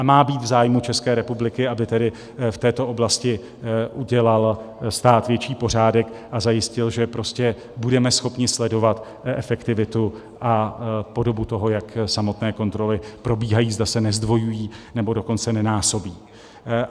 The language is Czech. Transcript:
A má být v zájmu České republiky, aby tedy v této oblasti udělal stát větší pořádek a zajistil, že prostě budeme schopni sledovat efektivitu a podobu toho, jak samotné kontroly probíhají, zda se nezdvojují, nebo dokonce nenásobí.